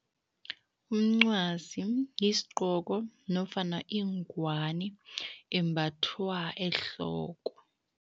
Umncwazi yisigqoko nofana ingwani embathwa ehloko.